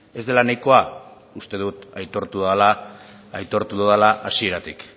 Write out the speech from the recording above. ez dela nahikoa uste dut aitortu dudala hasieratik